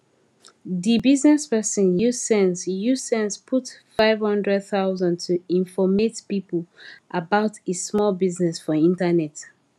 di bizness person use sense use sense put 500000 to informate people about e small bizness for internet